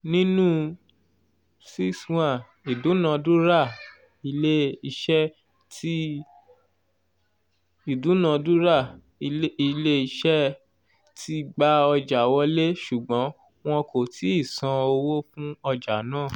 nínú ( six / one )ìdúnadúràilé-isé tí / one )ìdúnadúràilé-isé tí gba ọjà wọlé ṣùgbọ́n wọn kò tíì san owó fún ọjà náà